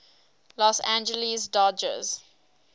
los angeles dodgers